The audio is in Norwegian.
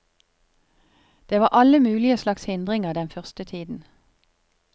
Det var alle mulige slags hindringer den første tiden.